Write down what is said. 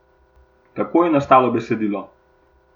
Kako je nastalo besedilo?